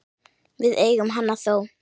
Við eigum hana þó.